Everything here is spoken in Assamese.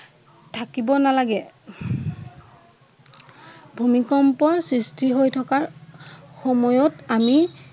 থাকিব নলাগে। ভূমিকম্পৰ সৃষ্টি হৈ থকাৰ সময়ত আমি